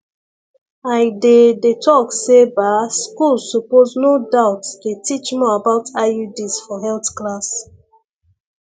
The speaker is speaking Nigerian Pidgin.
i dey dey talk say ba schools suppose no doubt dey teach more about iuds for health class